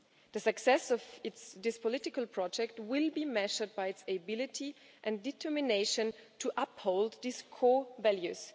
The success of this political project will be measured by its ability and determination to uphold these core values.